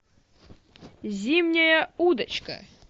зимняя удочка